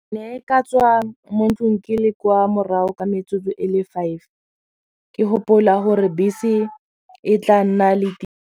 Ne e ka tswa mo ntlong ke le kwa morago ka metsotso e le five ke gopola gore bese e tla nna .